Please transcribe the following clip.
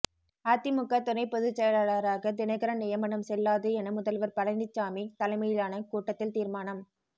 அதிமுக துணை பொதுச் செயலாளராக தினகரன் நியமனம் செல்லாது என முதல்வர் பழனிசாமி தலைமையிலான கூட்டத்தில் தீர்மானம்